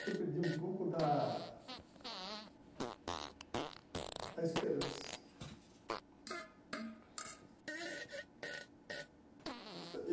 Que eu perdi um pouco da da esperança.